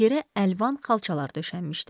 Yerə əlvan xalçalar döşənmişdi.